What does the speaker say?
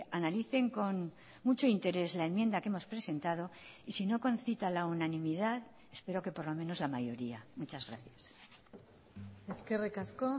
analicen con mucho interés la enmienda que hemos presentado y si no concita la unanimidad espero que por lo menos la mayoría muchas gracias eskerrik asko